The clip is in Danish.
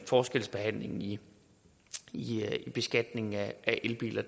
forskelsbehandlingen i beskatningen af elbiler